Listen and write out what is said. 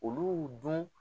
Olu dun